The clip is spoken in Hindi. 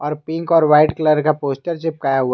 और पिंक और वाइट कलर का पोस्टर चिपकाया हुआ--